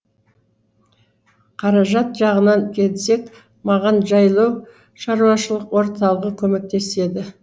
қаражат жағынан келсек маған жайлау шаруашылық орталығы көмектеседі